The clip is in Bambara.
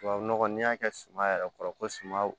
Tubabu nɔgɔ n'i y'a kɛ suma yɛrɛ kɔrɔ ko suman